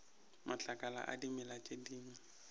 matlakala a dimela tše dingwe